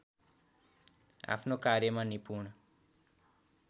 आफ्नो कार्यमा निपुण